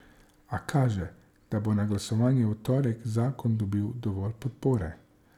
A kaže, da bo na glasovanju v torek zakon dobil dovolj podpore.